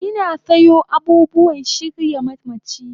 Ina sayo abubuwan shirya mamachi